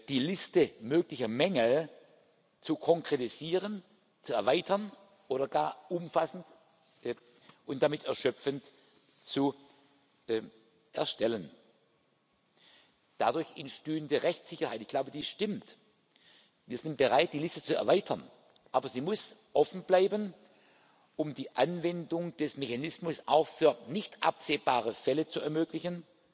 einige Mitgliedstaaten, die Liste möglicher Mängel zu konkretisieren, zu erweitern oder gar umfassend und damit erschöpfend zu erstellen. Dadurch entstünde Rechtssicherheit. Ich glaube, dies stimmt. Wir sind bereit, die Liste zu erweitern. Aber sie muss offen bleiben, um die Anwendung des Mechanismus auch bei nicht absehbaren